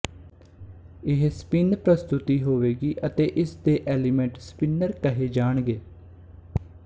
ਇਹ ਸਪਿੱਨ ਪ੍ਰਸਤੁਤੀ ਹੋਵੇਗੀ ਅਤੇ ਇਸਦੇ ਐਲੀਮੈਂਟ ਸਪਿੱਨੌਰ ਕਹੇ ਜਾਣਗੇ